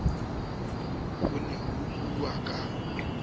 ho ne ho buuwa ka